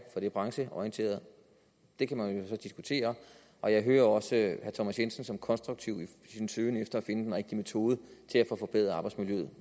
for det brancheorienterede det kan man jo så diskutere og jeg hører også herre thomas jensen som konstruktiv i sin søgen efter at finde den rigtige metode til at få forbedret arbejdsmiljøet